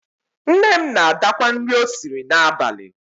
Nne m na-adakwa nri o siri n'abalị.